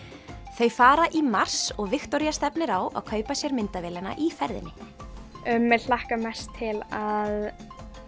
þau fara í mars og Viktoría stefnir á að kaupa sér myndavélina í ferðinni mig hlakkar mest til að